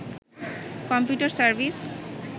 computer service